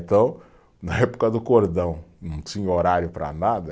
Então, na época do cordão, não tinha horário para nada.